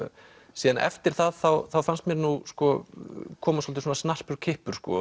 síðan eftir það þá þá fannst mér koma svolítið snarpur kippur